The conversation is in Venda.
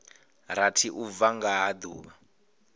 rathi u bva nga duvha